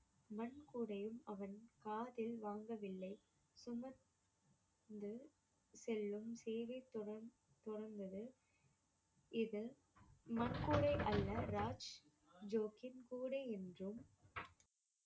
மண் கூடையும் அவன் காதில் வாங்கவில்லை சுமந்து செல்லும் இது அல்ல ராஜ் ஜோக்கின் கூடை என்றும்